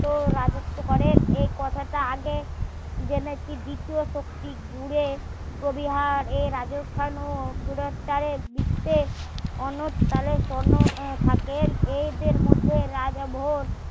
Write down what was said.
রাজত্ব করেন এই কথাটা আগে জেনেছি দ্বিতীয় কতৃক ঘুরে যদি হার এ রাজস্থান ও দিক তে অনেদকালে সনদ থাকেন এদের মধ্যে রাতভর